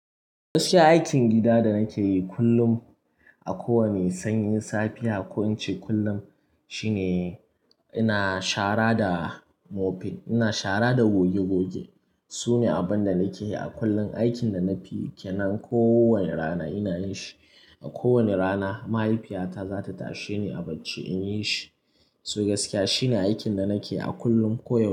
Gaskiya aikin gida da nake yi kullum, a kowane sanyin safiya, ko in ce kullum shine ina shara da mope, ina shara da goge goge. Su ne abin da nake yi a kullum, aikin da na fiyi ke nan kowani rana ina yi shi. A kowane rana mahaifiyata za ta tashe ni a bacci in yi shi. To gaskiya shine aikin da nake yi a kullum koyau.